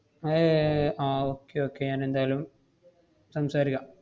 ഏർ ah okay okay ഞാൻ എന്തായാലും സംസാരിക്കാം.